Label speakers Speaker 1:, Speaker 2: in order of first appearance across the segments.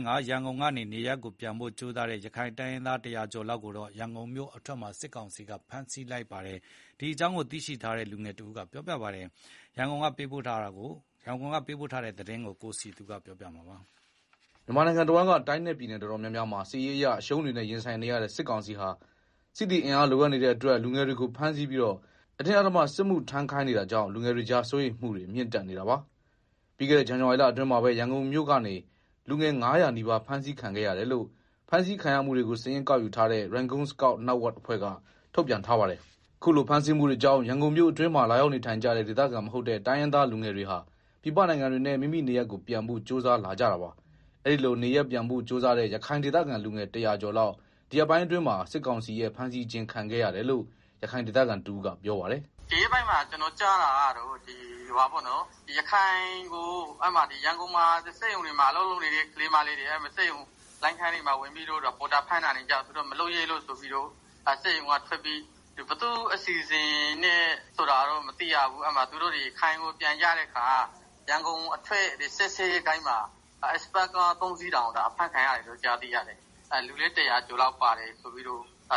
Speaker 1: ို ရန်ကုန်ကနေ မိမိနေရပ်ကိုပြန်ဖို့ ကြိုးစားတဲ့ ရခိုင်တိုင်းရင်းသား ၁၀၀ ကျော်လောက်ကို ရန်ကုန်မြို့အထွက်မှာ စစ်ကောင်စီကဖမ်းဆီးလိုက်တယ်လို့ ရခိုင်ဒေသခံတဦး ကပြောပါတယ်။ ဒီအကြောင်း ရန်ကုန်က သတင်းပေးပို့ထားပါတယ်။ မြန်မာတဝန်းက တိုင်းနဲ့ပြည်နယ်တော်တော်များများမှာ စစ်ရေးအရအရှုံးတွေနဲ့ ရင်ဆိုင်နေရတဲ့ စစ်ကောင်စီဟာ စစ်သည်အင်အားလိုအပ်နေတဲ့အတွက် လူငယ်တွေကိုဖမ်းဆီးပြီးတော့ အတင်း အဓမ္မစစ်မှုထမ်းခိုင်းနေတာကြောင့် လူငယ်တွေကြား စိုးရိမ်မှုတွေမြင့်တက်နေတာပါ။ ပြီးခဲ့တဲ့ ဇန်နဝါရီလအတွင်းမှာပဲ ရန်ကုန်မြို့ကနေ လူငယ် ၅၀၀ နီးပါးဖမ်းဆီးခံခဲ့ရတယ်လို့ ဖမ်းဆီးခံရမှုတွေကို စာရင်းကောက်ယူထားတဲ့ Rangoon Scout Network အဖွဲ့က ထုတ်ပြန်ထားပါတယ်။ အခုလို ဖမ်းဆီးမှုတွေကြောင့် ရန်ကုန်မြို့အတွင်းမှာ လာရောက်နေထိုင်ကြတဲ့ ဒေသခံမဟုတ်တဲ့ တိုင်းရင်းသားလူငယ်တွေဟာ ပြည်ပနိုင်ငံတွေနဲ့ မိမိနေရပ်တွေကို ပြန်ဖို့ကြိုးစားလာကြတာပါ။ အဲဒီလို နေရပ်ပြန်ဖို့ ကြိုးစားတဲ့ ရခိုင်ဒေသခံ လူငယ် ၁၀၀ ကျော်လောက် ဒီရက်ပိုင်းအတွင်းမှာ စစ်ကောင်စီရဲ့ ဖမ်းဆီးခြင်း ခံခဲ့ရတယ်လို့ ရခိုင်ဒေသခံတဦးက ပြောပါတယ်။ “ဒီရက်ပိုင်းမှာ ကျနော်ကြားတာကတော့ ရ
Speaker 2: န်ကုန်ကစက်ရုံတွေမှာ အလုပ်လုပ်နေတဲ့ ကလေးမလေး တွေကို စက်ရုံလိုင်းခန်းတွေမှာ ပေါ်တာဆွဲတာတွေကြောင့် မလုပ်ရဲကြတော့ဘဲ စက်ရုံကထွက်ပြီး ဘယ်သူ့အစီအစဉ်နဲ့လဲတော့ မသိဘူး။ သူတို့ ရခိုင်ကို ပြန်ကြတဲ့အခါ ရန်ကုန်အထွက် စစ်ဆေးရေး ဂိတ်မှာ Express ကား ၃ စီးတောင် အဖမ်းခံရတယ်လို့ ကြားတယ်။ လူလည်း ၁၀၀ ကျော်လောက်ပါ တယ်လို့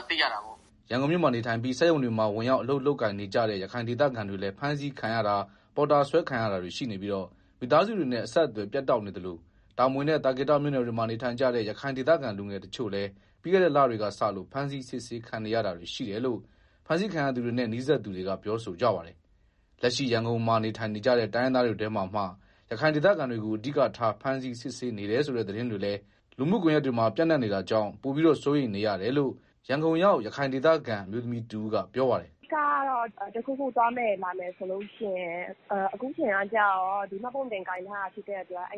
Speaker 2: သိရတာပေါ့။
Speaker 1: ” ရန်ကုန်မြို့မှာနေထိုင်ပြီး စက်ရုံတွေမှာ ဝင်ရောက် အလုပ်လုပ်ကိုင်နေကြတဲ့ ရခိုင်ဒေသခံတွေလည်း ဖမ်းဆီးခံရတာ၊ ပေါ်တာဆွဲခံရတာတွေရှိနေပြီး မိသားစုတွေနဲ့ အဆက်အသွယ်ပြတ်တောက်နေသလို တာမွေနဲ့ သာကေတမြို့နယ်တွေမှာ နေထိုင်ကြတဲ့ ရခိုင်ဒေသခံလူငယ်တချို့လည်း ပြီးခဲ့တဲ့လတွေကစလို့ ဖမ်းဆီး စစ်ဆေးခံနေရတာရှိတယ်လို့ ဖမ်းဆီးခံရသူတွေနဲ့ နီးစပ်သူတွေက ပြောဆိုကြပါတယ်။ လက်ရှိရန်ကုန်မှာနေထိုင်နေကြတဲ့ တိုင်းရင်းသားတွေထဲမှာမှ ရခိုင်ဒေသခံတွေကို အဓိကထားဖမ်းဆီး စစ်ဆေးနေတယ်ဆိုတဲ့ သတင်းတွေလည်း လူမှုကွန်ယက်တွေမှာတက်နေတာကြောင့် ပိုပြီးတော့ စိုးရိမ်နေရတယ်လို့ ရန်ကုန်ရောက် ရခိုင်ဒေသခံအမျိုးသမီးတဦးက ပြောပါတယ်။ “အ
Speaker 3: ဓိကတော့ တခုခုသွားမယ်လာမယ်ဆိုလို့ရှိရင် အခုကကျတော့ ရခိုင်မှတ်ပုံတင်ကိုင်ထားတာဆို တော့ နည်းနည်း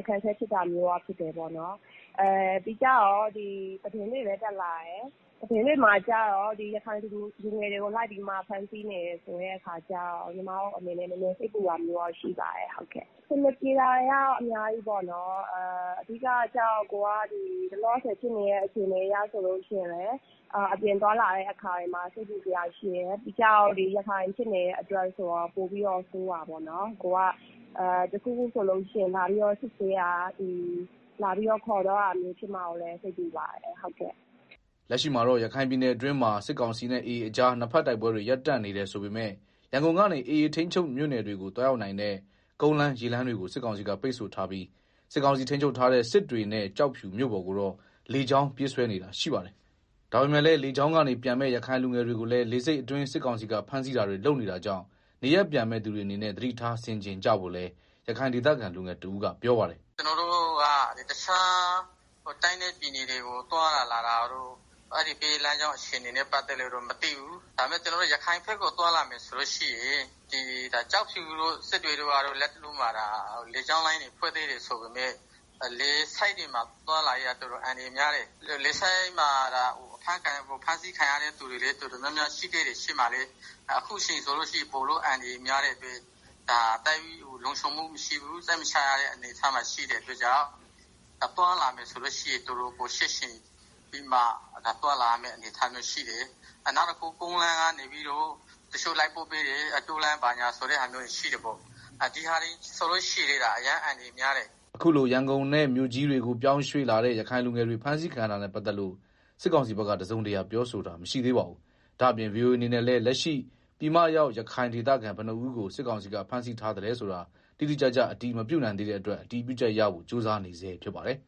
Speaker 3: အခက်အခဲဖြစ်တယ်။ နောက်ပြီးတော့ သတင်းတွေမှာလည်း ရခိုင်လူငယ်တွေကို လိုက်ဖမ်းနေတယ်ဆိုတဲ့အခါကျတော့ ညီမတို့အနေနဲ့ စိတ်ပူတာရှိပါတယ်။ အဆင်မပြေတာ တွေကတော့ အများကြီးပေါ့နော်။ အခုက လောလောဆယ်ဖြစ်နေတဲ့အခြေအနေမှာလည်း အပြင်သွားလာတဲ့အခါမှာလည်း စိတ်ပူစရာရှိတယ်၊ ပြီးတော့ ရခိုင်ဖြစ်နေတဲ့ အတွက် ပိုပြီးတော့ဆိုးတာပေါ့နော်။ တခုခုဆိုရင် လာပြီးတော့ စစ်ဆေးမှာ၊ လာပြီးတော့ ခေါ်သွားမှာကိုလည်း စိတ်ပူပါတယ်။”
Speaker 1: လက်ရှိမှာတော့ ရခိုင်ပြည်နယ်အတွင်းမှာ စစ်ကောင်စီနဲ့ AA ကြား နှစ်ဘက်တိုက်ပွဲတွေ ရပ်တန့်နေ တယ်ဆိုပေမယ့် ရန်ကုန်ကနေ AA ထိန်းချုပ်မြို့နယ်တွေကို သွားရောက်နိုင်တဲ့ ကုန်းလမ်း၊ ရေလမ်းတွေ ကို စစ်ကောင်စီက ပိတ်ဆို့ထားပြီး စစ်ကောင်စီထိန်းချုပ်ထားတဲ့ စစ်တွေနဲ့ ကျောက်ဖြူမြို့ ပေါ်ကိုတော့ လေကြောင်းပြေးဆွဲနေတာရှိပါတယ်။ ဒါပေမယ့်လည်း လေကြောင်းကနေပြန်မယ့် ရခိုင်လူငယ်တွေကိုလည်း လေဆိပ်အတွင်း စစ်ကောင်စီက ဖမ်းဆီးတာတွေလုပ်နေတာကြောင့် နေရပ်ပြန်မယ့် သူတွေအနေနဲ့ သတိထား ဆင်ခြင်ကြဖို့လည်း ရခိုင်ဒေသခံ လူငယ်တဦးကပြောပါတယ်။ “ကျနော်တို့က တခြားတိုင်းနဲ့ ပြည်နယ်တွေကို သွားတာလာတာက
Speaker 2: တော့ အဲဒီဘက် လမ်းကြောင်းအခြေ အနေတွေကို မသိဘူး။ ဒါပေမယ့် ရခိုင်ဘက်ကို သွားလာမယ်ဆိုလို့ရှိရင် ကျောက်ဖြူတို့၊ စစ်တွေတို့က လတ်တလောမှာ လေကြောင်းလိုင်းတွေဖွင့်သေးတယ်ဆိုပေမယ့် လေဆိပ်တွေမှာ သွားလာရေးက တော်တော်အန္တရာယ်များတယ်။ လေဆိပ်မှာ ဖမ်းဆီးခံရသူတော်တော်များများရှိခဲ့တယ်။ ရှေ့မှာလည်း အခုအချိန်က ပိုပြီးအန္တရာယ်များတဲ့အတွက် သိပ်လုံခြုံမှုမရှိဘူး။ စိတ်မချရတဲ့ အနေအထားမှာရှိတဲ့ အတွက်ကြောင့် သွားလာမယ်ဆိုရင် တော်တော်ချင့်ချိန်ပြီးတော့မှ သွားလာရမယ့် အနေအထားရှိတယ်။ နောက်တခုက ကုန်းလမ်းကနေလိုက်ပို့ပေးတဲ့ တောလမ်း ဘာညာဆိုတာရှိတယ်ပေါ့။ ဒီဟာတွေလည်း အရမ်းအန္တရာယ်များတယ်။
Speaker 1: ” အခုလို ရန်ကုန်နဲ့ မြို့ကြီးတွေကို ပြောင်းရွှေ့လာတဲ့ ရခိုင်လူငယ်တွေ ဖမ်းဆီးခံရတာနဲ့ပတ်သက်ပြီး စစ်ကောင်စီဘက်က တစုံတရာပြောဆိုတာ မရှိသေးပါဘူး။ ဒါ့အပြင် ဗွီအိုအေအနေနဲ့လည်း လက်ရှိ ပြည်မရောက် ရခိုင်ဒေသခံဘယ်နှစ်ဦးကို စစ်ကောင်စီက ဖမ်းဆီးထားသလဲဆိုတာ တိတိကျကျ အတည် မပြုနိုင်သေးတဲ့အတွက် အတည်ပြုချက်ရဖို့ ကြိုးစားနေဆဲဖြစ်ပါတယ်။